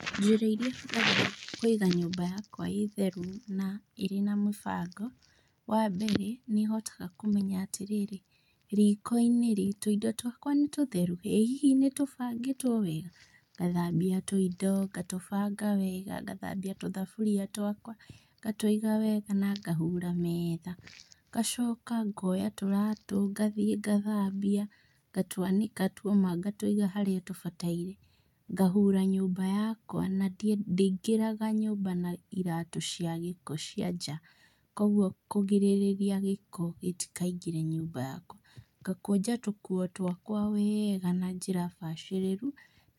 Njĩra iria hũthagĩra kũiga nyũmba yakwa ĩ theru na ĩrĩ na mũbango, wambere nĩ hotaga kũmenya atĩrĩrĩ, riko-inĩ rĩ tũindo twakwa nĩ tũtheru? Ĩhihi nĩtũbangĩtwo wega? Ngathambia tũindo ngatũbanga wega, ngathambia tũthaburia twakwa ngatũiga wega na ngahura meetha. Ngacoka ngoya tũratũ na ngthiĩ ngathambia, ngatwanĩka tuoma ngatũiga harĩa tũbataire. Ngahura nyũmba yakwa na ndĩngĩraga nyũmba na iratũ cia gĩko cia nja, kuoguo kũrigĩrĩrĩria gĩko gĩtikaingĩre nyũmba yakwa. Ngakũnja tũkuo twakwa wega na njĩra bacĩrĩru,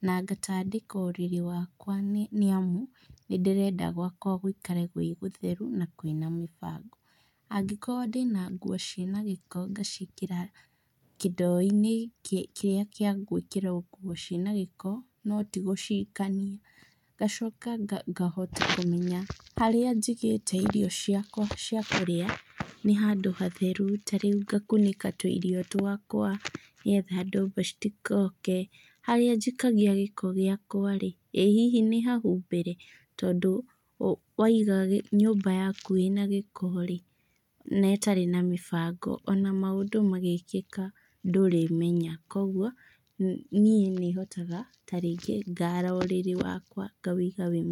na ngatandĩka ũrĩrĩ wakwa nĩamu nĩndĩrenda gwakwa gũikare gwĩ gũtheru na kwĩna mĩbango. Angĩkorwo ndĩna nguo ciĩna gĩko ngaciĩkĩra kĩndoo-inĩ kĩrĩa kĩa gwĩkĩrwo nguo ciĩna gĩko, no ti gũciikania. Ngacoka ngahota kũmenya harĩa njigĩte irio ciakwa cia kũrĩa nĩ handũ hatheru, tarĩu ngakunĩka tũirio twakwa nĩgetha ndomba citikoke. Harĩa njikagia gĩko gĩakwa-rĩ, ĩ hihi nĩ hahumbĩre? tondũ waiga nyũmba yaku ĩna gĩko-rĩ na ĩtarĩ na mĩbango ona maũndũ magĩkĩka ndũrĩmenya, kuoguo niĩ nĩhotaga ta rĩngĩ ngara ũrĩrĩ wakwa ngawĩiga wĩ.